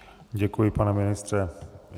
Děkuji, pane ministře.